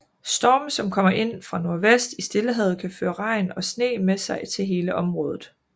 Storme som kommer ind fra nordvest i Stillehavet kan føre regn og sne med sig til hele området